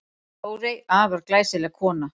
Þórey, afar glæsileg kona.